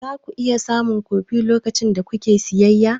Za ku iya samun kofi lokacin da kuke siyayya?